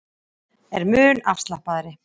Er mun afslappaðri